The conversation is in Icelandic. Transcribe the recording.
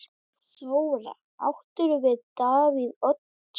Þóra: Áttirðu við Davíð Oddsson?